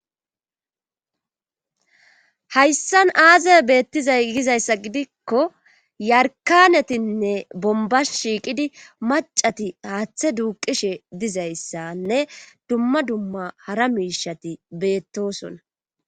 hayssan aazay beettizay gizayssa gidikko yarkanetinne bomba shiiqidi macati haaththe duuqishe dizayssanne dumma dumma hara miishati beettosona